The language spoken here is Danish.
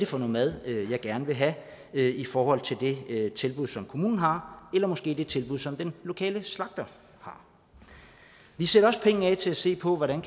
for noget mad man gerne vil have i forhold til det tilbud som kommunen har eller måske det tilbud som den lokale slagter har vi sætter også penge af til at se på hvordan